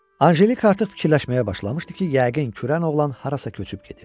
Anjelika artıq fikirləşməyə başlamışdı ki, yəqin kürən oğlan harasa köçüb gedib.